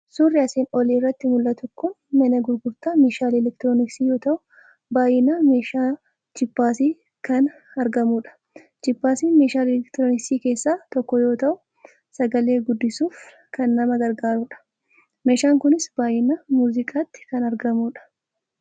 Suurri asiin olii irratti mul'atu kun mana gurgurta meeshaalee elektirooniksii yoo ta'u, baay'inaan meeshaa jiippaasii kan argamudha. jiippaasiin meeshaalee elektirooniksii keessaa tokko yoo ta'u sagalee guddisuuf kan nama gargaarudha. meshaan kunis baay'inaan muuziqaatti kan argamudha.